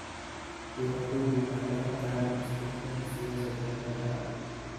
Beeraleydu waxay baran karaan isbeddelada siyaasadaha beeraha.